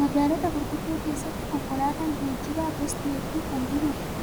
Magaalota gurguddoo keessatti konkolaataan geejjibaa gosti hedduun